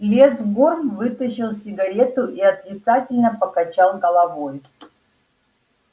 лес горм вытащил сигарету и отрицательно покачал головой